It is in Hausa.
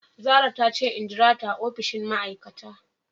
Zarah tace in jirata a opishin ma aikata.